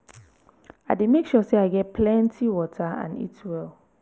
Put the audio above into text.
i dey make sure say i get plenty water and eat well.